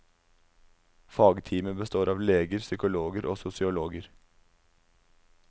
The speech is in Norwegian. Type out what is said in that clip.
Fagteamet består av leger, psykologer og sosiologer.